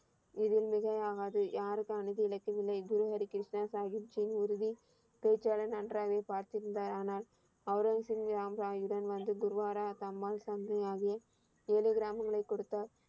இது மிகையாகாது. யாருக்கு அநீதி இழைக்கவில்லை. குரு ஹரி கிருஷ்ணா சாஹீப் ஜின் உறுதி பேச்சிலே நன்றாக பார்த்திருந்தார். ஆனால் அவுரவசிங் ராம் ராயிடம் வந்து குருத்வாரா தம்மால் தந்தையாகிய ஏழு கிராமங்களை கொடுத்தார்.